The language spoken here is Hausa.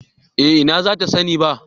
Eh na za ta sani ba